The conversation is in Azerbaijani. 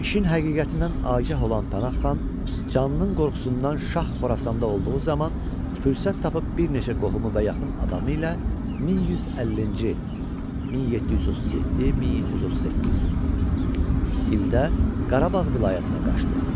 İşin həqiqətindən agah olan Pənah xan, canlının qorxusundan Şah Xorasanda olduğu zaman fürsət tapıb bir neçə qohumu və yaxın adamı ilə 1150-ci (1737-1738) ildə Qarabağ vilayətinə qaçdı.